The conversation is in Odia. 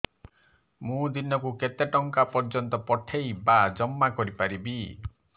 ମୁ ଦିନକୁ କେତେ ଟଙ୍କା ପର୍ଯ୍ୟନ୍ତ ପଠେଇ ବା ଜମା କରି ପାରିବି